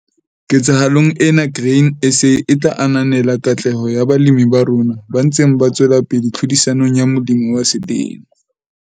Ketsahalong ena Grain SA e tla ananela katleho ya balemi ba rona ba ntseng ba tswela pele tlhodisanong ya Molemi wa Selemo.